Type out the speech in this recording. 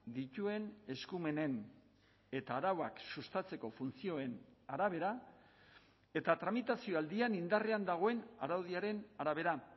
dituen eskumenen eta arauak sustatzeko funtzioen arabera eta tramitazio aldian indarrean dagoen araudiaren arabera